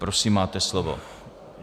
Prosím máte slovo.